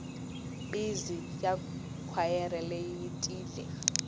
bizi ya khwayere leyi yi tiyile